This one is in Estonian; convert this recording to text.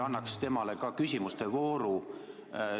Annaks temale ka küsimuste vooru.